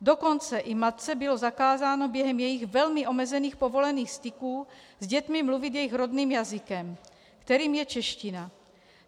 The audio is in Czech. Dokonce i matce bylo zakázáno během jejích velmi omezených povolených styků s dětmi mluvit jejich rodným jazykem, kterým je čeština.